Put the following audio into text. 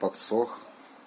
подсох